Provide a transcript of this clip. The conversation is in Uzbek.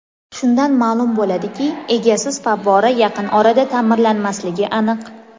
Shundan ma’lum bo‘ladiki, egasiz favvora yaqin orada ta’mirlanmasligi aniq.